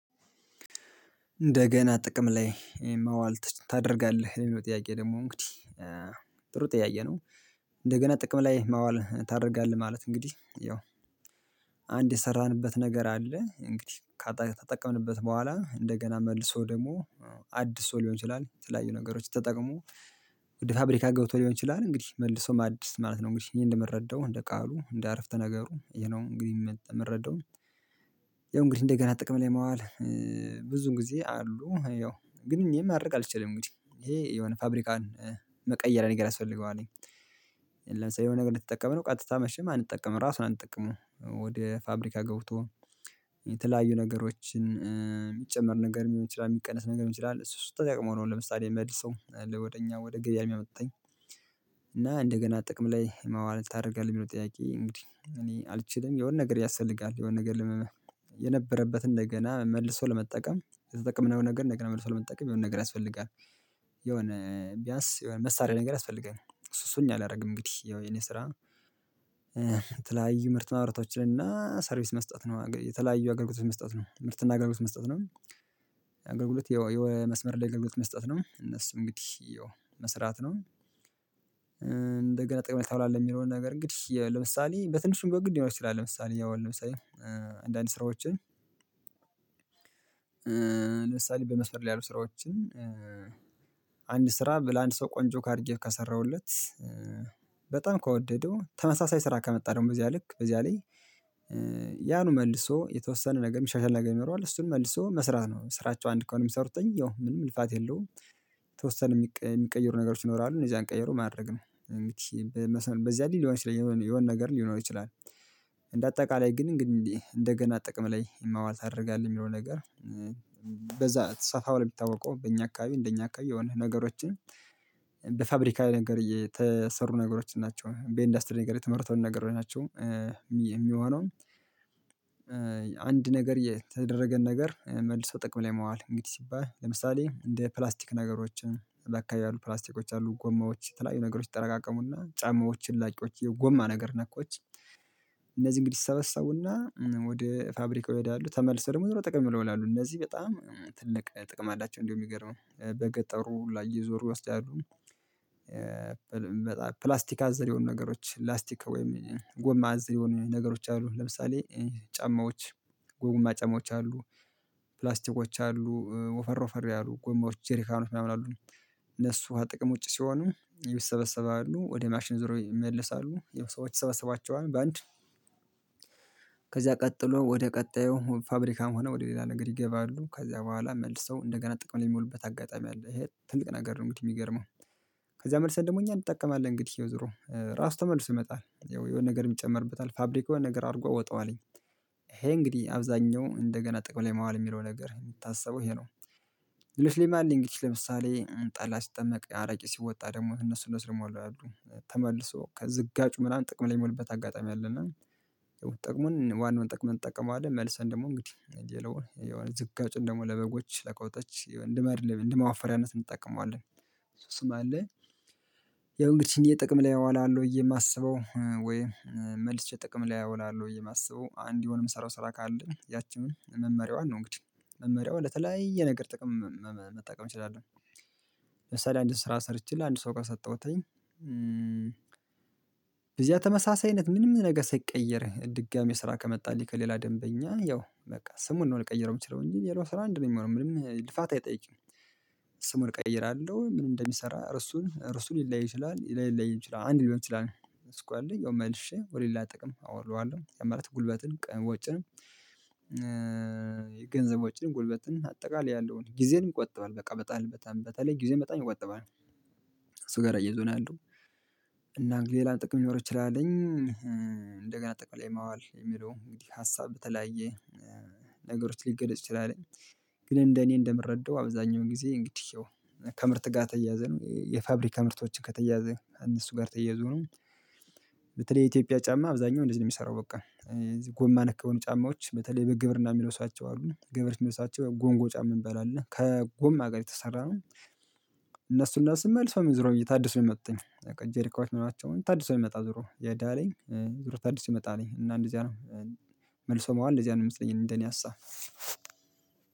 እንደገና ጥቅም ላይ ማዋል ትች ታደርጋለህ ሌሎች ጥያቄ ደግሞ እንግዲህ ጥሩ ጥያቄ ነው? እንደገና ጥቅም ላይ ማዋል ታደርጋለህ ማለት እንግዲህ ያው አንድ የሰራንበት ነገር አለ እንግዲህ ካተቀምንበት በህዋላ እንደገና መልሶ ደግሞ አድሶ ሊሆን ይችላል የተለያዩ ነገሮች ተጠቅሞ ፋብሪካ ገብቶ ሊሆን ይችላል እንግዲህ መልሶ ማደስ ማለት ነው። እንግዲህ እኔ እንደምረዳው እንደ ቃሉ እንደ አረፍተ ነገሩ የነው እንግዲህ የምረዳው ያው እንግዲህ እንደገና ጥቅም ላይ መዋል ብዙን ጊዜ አሉ ያው ግን እኔ ማድረግ አልችልም ይሄ የሆነ ፋብሪካን መቀየሪያ ነገር ያስፈልገዋል። ለምሳሌ የሆነ ነገር እንድትጠቀምነው ቀጥታ መቼም አንጠቀምም ራሱን አንጠቀምም ወደ ፋብሪካ ገብቶ የተለያዩ ነገሮችን የሚጨመር ነገር የሚቀነስ ነገር ልሆን ይችላል እሱ እሱ ተጠቅሞ ነው ለምሳሌ መልሰው ወደ እኛ ወደ ገበያ የሚያመጡት። እና እንደገና ጥቅም ላይ መዋል ታደርጋለህ ብሎ ጥያቄ እንግዲህ እኔ አልችልም የሆነ ነገር ያስፈልጋል የሆነ ነገር የነበረበትን እንደገና መልሶ ለመጠቀም የተጠቀምነው ነገር እንደገና መልሶ ለመጠቀም የሆነ ነገር ያስፈልጋል። የሆነ ቢያንስ የሆነ መሳሪያ ነገር ያስፈልገናል እሱ እሱን አላደርግም እንግዲህ ያው የእኔ ስራ። የተለያዩ ምርት ማምራቶች እና ሰርቪስ መስጠት ነው የተለያዩ አገልግሎት መስጠት ነው ምርትና አገልግሎት መስጠት ነው። አገልግሎት መስመር ላይ አገልግሎት መስጠት ነው እነሱ እንግዲህ መስራት ነው። እንደገና ጥቅም ታውላለህ የሚለውን ነገር እንግዲህ ለምሳሌ በትንሽ ብሆን ግን ልሆን ይችላል ለምሳሌ ያው ለምሳሌ አንዳንድ ስራዎችን ለምሳሌ በመስፈር ላይ ያሉት ስራዎችን አንድ ስራ ለአንድ ሰው ቆንጆ አድርጌ ከሰራሁለት በጣም ከወደደው ተመሳሳይ ስራ ከመጣልኝ በዚያ ልክ በዚያ ላይ ያኑ መልሶ የተወሰነ ነገር የሚሻሻል ነገር ይኖረዋል። እሱን መልሶ መስራት ነው ስራቸው አንድ ከሆነ የሚሰሩት ያው ምንም ልፋት የለውም። የተወሰነ የሚቀየሩ ነገሮች ይኖራሉ እነዚያን ቀየሩ ማድረግ ነው። በዚያ አይነት ሊሆን ይችላል የሆነ ነገር ሊኖር ይችላል። እንደ አጠቃላይ ግን እንግዲህ እንደገና ጥቅም ላይ ማዋል ታደርጋለህ የሚለው ነገር በዛ ተሰፋ ብሎ የሚታወቀው በእኛ አካባቢ እንደኛ አካባቢ የሆነ ነገሮችን በፋብሪካው ነገር የተሰሩ ነገሮችን ናቸው በኢንዱስትሪ ነገር የተመረተውን ነገር ናቸው። የሚሆነው አንድ ነገር የተደረገን ነገር መልሶ ጥቅም ላይ መዋል እንግዲህ ሲባል ለምሳሌ እንደ ፕላስቲክ ነገሮችን ለካ ያሉት ፕላስትኮች አሉ ጎማዎች የተለያዩ ነገሮች ይጠራቀቀሙና ጫማዎች እላቂዎች የጎማ ነገር ነኮች እነዚህ እንግዲህ ይሰበሰቡና ወደ ፋብሪካው ሄዳሉ ተመልሰው ምንድነው ጥቅም ይውላሉ እነዚህ በጣም ትልቅ ጥቅም አላቸው እንደው የሚገርመው በገጠሩ ላይ እየዞሩ ይወስዳሉ። ፕላስቲክ አዘላ የሆኑ ነገሮች ላስቲክ ወይም ጎማ አዘላ የሆኑ ነገሮች አሉ ለምሳሌ ጫማዎች ጎማ ጫማዎች አሉ። ፕላስትኮች አሉ ወፈር ወፈር ያሉ ጎማዎች ጀሪካኖች ምናምን አሉ። እነሱ ከጥቅም ውቺ ሲሆኑ ይሰበሰባሉ ወደ ማሽን ዞሮ ይመለሳሉ ያወ ሰዎች ይሰበሰባቸወል በአንድ ከዚያ ቀጥሎ ወደ ቀጣዩ ፋብሪካም ሆነ ወደ ሌላ ነገር ይገባሉ ከዛ በህዋላ መልሰው እንደገና ጥቅም ላይ የምዎሉበት አጋጣሚ አለ ትልቅ ነገር ነው። የምገርመው ከዚያ መልሰን ደግሞ እኛ እንጠቀማለን እንግዲህ ዞር ራሱ ተመልሶ ይመጣል። የሆነ ነገር የሚጨመርበት ፋብሪካውን የሆነ ነገር አድርጎ ያወታዋለኝ ይሄ እንግዲህ አብዛንኛው እንደገና ጥቅም ላይ ማዋል የሚለው ነገር የምታስበው ይሄ ነው። ለሽል አለ እንግዲህ ለምሳሌ ጠላ ሲጠመቅ አረቄ ሲወጣ ደግሞ እነሱ እነሱ ደግሞ አሉ ተመልሶ ከዝጋጩ ምናምን ጥቅም ላይ የሚውልበት አጋጣሚ አለና ጥቅሙን ዋናውን ጥቅም እንተቀመዋለን መልሰን ደግሞ እንግዲህ ሌላውን የሆነ ዝጋጩን ደግሞ ለበጎች ለከብቶች እንደ ማደለብ እንደ መዋፈርያነት እንጠከመዋለን። ያው እንግዲህ እኔ ጥቅም ላይ አወላለሁ ብዬ የማስበው ወይ መልስ ጥቅም ላይ አወላለሁ ብዬ የማስበው አንድ የሆነ የምሰራው ስራ ካለ ያቺን መመርያዋን ነው እንግዲህ መመሪያዋ ለተለያየ ነገር ጥቅም መጠቀም እችላለሁ። ለምሳሌ አንድ ስራ ሰርቼ ለአንድ ሰው ከሰጠሁት ተመሳሳይ አይነት ምንም ነገር ሳይቀየር ድጋሚ ስራ ከማጣልኝ ከሌላ ደንበኛ ያው በቃ ስሙን ነው ልቀይረው የምችለው እንጂ ሌላው ስራ አንድ ነው የምሆነው ምንም ልፋት አይጠይቅም። ስሙን እቀይራለሁ ምን እንደሚሰራ እርሱን እርሱን ልላየይ ይችላል ላይለይም ይችላል አንድ ሊሆን ይችላል እሱ ካለ ያው መልሼ ወደ ሌላ ጥቅም አወለዋለሁ ያማለት ጉልበትን ወጪን ገንዘብ ዎጭን ጉልበትን አጠቃላይ ያለውን ጊዜንም ይቆጥበል በቃ በጣም በጣም በተለይ ጊዜን በጣም ይቆጥባል። እሱ ጋር አያይዞ ናው የለው እና እንግዲህ ሌላ ጥቅም ሊኖር ይችላልኝ እንደገና ጥቅም ላይ ማዋል የሚለው እንግዲህ ሀሳብ የተለያየ። ነገሮች ልገድፅ ይችላለህ ግን እንደ እኔ እንደምረዳው አብዛኛውን ጊዜ እንግዲህ ከምርት ጋር የተያዘን የፋብሪካ ምርቶችን ከተያዘ ከእነሱ ጋር ተየዙ ነው። በተለይ የኢትዮጵያ ጫማ አብዛኛወ እንደዚህ ነው የሚሰራው በቃ። ጎማ ነክ የሆኑ ጫማዎች በተለይ በግብርና የምለብሱዋቸው አሉ ገበሬዎች የምለብሱዋቸው ጎንጎ ጫማ ምባል አለ ከጎም ናገር የተሰራ ነው። እነሱ እነሱ መልስው ዞረወ ታድሶ የምመጡት ርክዋች ምናላቸውን ታድሶ የመጣል ዙሮ ያዳለንይ ዙሮ ታድሶ ይመጣል እና እንደዚያ መልሶ መዋል እንደዚህ ነው የምመስለኝ እንደ እኔ ሀሳብ።